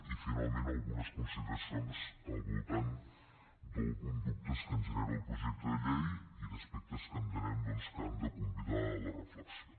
i finalment algunes consideracions al voltant d’alguns dubtes que ens genera el projecte de llei i d’aspectes que entenem doncs que han de convidar a la reflexió